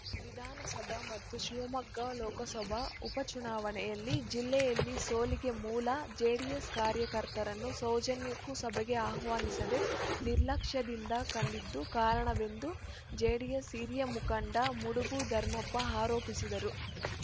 ವಿಧಾನಸಭಾ ಮತ್ತು ಶಿವಮೊಗ್ಗ ಲೋಕಸಭಾ ಉಪಚುನಾವಣೆಯಲ್ಲಿ ಜಿಲ್ಲೆಯಲ್ಲಿ ಸೋಲಿಗೆ ಮೂಲ ಜೆಡಿಎಸ್‌ ಕಾರ್ಯಕರ್ತರನ್ನು ಸೌಜನ್ಯಕ್ಕೂ ಸಭೆಗೆ ಆಹ್ವಾನಿಸದೆ ನಿರ್ಲಕ್ಷ್ಯದಿಂದ ಕಂಡಿದ್ದೇ ಕಾರಣವೆಂದು ಜೆಡಿಎಸ್‌ ಹಿರಿಯ ಮುಖಂಡ ಮುಡುಬ ಧರ್ಮಪ್ಪ ಆರೋಪಿಸಿದರು